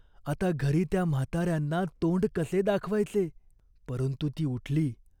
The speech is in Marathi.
आता घरी त्या म्हातार्यांना तोंड कसे दाखवायचे ? परंतु ती उठली.